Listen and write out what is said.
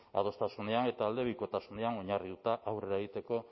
adostasunean eta aldebikotasunean oinarrituta aurrera egiteko